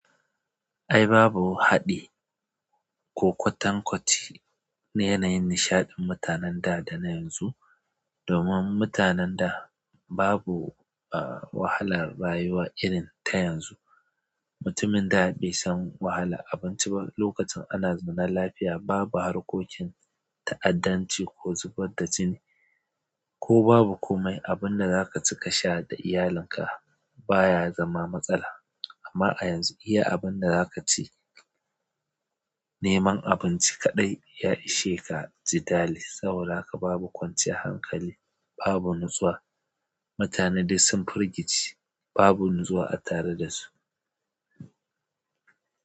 Ai babu haɗi ko kwatankwaci na yananyin nishan mutanen da, da na yanzu domin mutanen da babu wahalar rayuwa irin ta yanzu. Mutumin da bai san wahala abinci ba lokacin ana zumunar lafiya babu harkokin ta'addanci ko zubar da jini ko babu komai abinda zaka cika sha da iyalinka baya zama matsala. Amma a yanzu iya abinda zaka ci neman abinci kaɗai ya ishe ka ji dali saboda haka babu kwanciya hankali babu natsuwa. Mutane dai sun firgice babu natsuwa a tare da su.